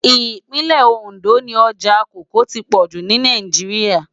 Ipinlè-Óndó ni òjá kòókòó ti pòjú ni Náijiriá